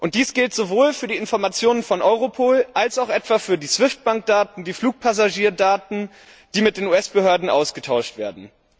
Dies gilt sowohl für die Informationen von Europol als auch etwa für die SWIFT Bankdaten und die Flugpassagierdaten, die mit den US Behörden ausgetauscht werden.